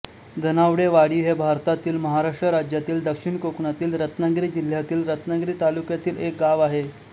धनावडेवाडी हे भारतातील महाराष्ट्र राज्यातील दक्षिण कोकणातील रत्नागिरी जिल्ह्यातील रत्नागिरी तालुक्यातील एक गाव आहे